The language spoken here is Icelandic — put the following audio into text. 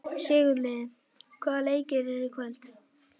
Sigurliði, hvaða leikir eru í kvöld?